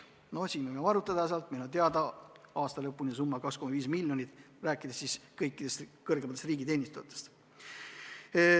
No siin võime arvutada, minu teada on aasta lõpuni see summa 2,5 miljonit, kui rääkida kõikidest kõrgematest riigiteenistujatest.